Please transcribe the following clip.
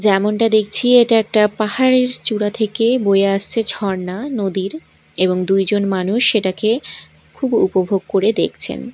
যেমনটা দেখছি এটা একটা পাহাড়ের চূড়া থেকে বয়ে আসছে ঝরনা নদীর এবং দুইজন মানুষ সেটাকে খুব উপভোগ করে দেখছেন।